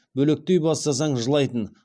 бөлектей бастасаң жылайтын